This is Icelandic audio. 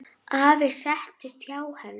Afi settist hjá henni.